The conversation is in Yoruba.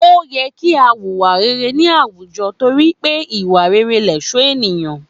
Ó yẹ kí a wùwà rere ní àwùjọ torí pé ìwà rere lẹ̀ṣọ́ ènìyàn